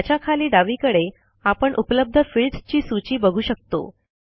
त्याच्या खाली डावीकडे आपण उपलब्ध फील्ड्स ची सूची बघू शकतो